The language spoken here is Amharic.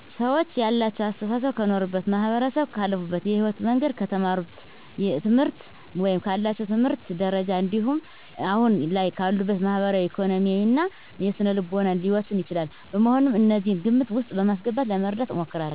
ሰወች ያላቸው አሰተሳሰብ ከኖሩበት ማህበረሰብ፣ ካለፉበት የህይወት መንገድ፣ ከተማሩት ትምህርት ወይም ካላቸው የትምህርት ደረጃ እንዲሁም አሁን ላይ ካሉበት ማህበራዊ፣ ኢኮኖሚያዊ እና የስነልቦና ሁኔታ ሊወሰን ይችላል። በመሆኑም እነዚህን ግምት ውስጥ በማስገባት ለመረዳት እሞክራለሁ።